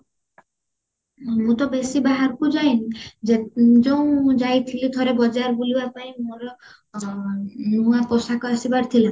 ମୁଁ ତ ବେଶି ବାହାରକୁ ଯାଇନି ଯେ ଯୋଉ ଯାଇଥିଲୁ ଥରେ ବଜାର ବୁଲିବା ପାଇଁ ମୋର ନୂଆ ପୋଷାକ ଆସିବାର ଥିଲା